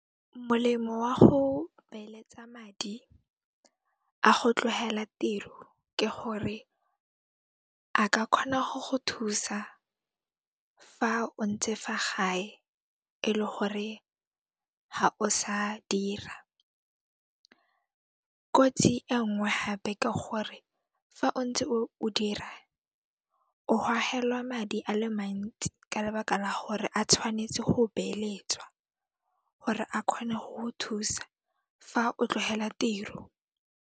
Molemo wa go beeletsa madi a go tlohela tiro, ke gore a ka kgona go go thusa fa o ntse fa gae ele gore ga o sa dira. Kotsi e nngwe hape ke gore fa o ntse o dira, o hohelwa madi a le mantsi ka lebaka la gore a tshwanetse ho beeletswa hore a kgone ho ho thusa fa o tlohela tiro.